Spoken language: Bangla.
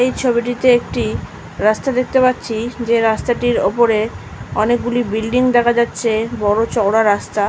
এই ছবিটিতে একটি রাস্তা দেখতে পাচ্ছি। যে রাস্তাটির ওপরে অনেকগুলি বিল্ডিং দেখা যাচ্ছে। বড় চওড়া রাস্তা।